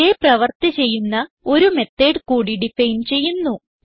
ഇതേ പ്രവർത്തി ചെയ്യുന്ന ഒരു മെത്തോട് കൂടി ഡിഫൈൻ ചെയ്യുന്നു